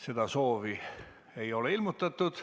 Seda soovi ei ole ilmutatud.